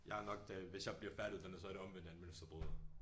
Jeg nok den hvis jeg bliver færdiguddannet så er jeg det omvendte af en mønsterbryder